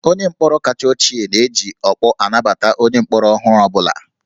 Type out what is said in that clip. Onye mkpọrọ kacha ochie na-eji ọkpọ anabata onye mkpọrọ ọhụrụ ọ bụla